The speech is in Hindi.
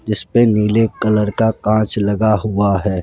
जिसपे नीले कलर का कांच लगा हुआ है।